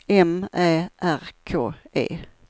M Ä R K E